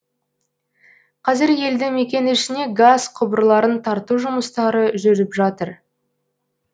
қазір елді мекен ішіне газ құбырларын тарту жұмыстары жүріп жатыр